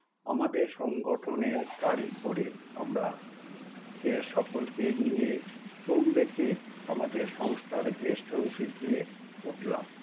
আমাদের সংগঠনের গাড়ি করে আমরা এ সকলকে নিয়ে ট্রোম্বেতে আমাদের সংস্থার guest house -এ গিয়ে উঠলাম